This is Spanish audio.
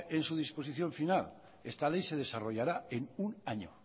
en su disposición final esta ley se desarrollará en un año